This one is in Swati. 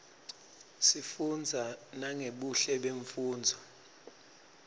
sifunza nangebuhle bemnfundzo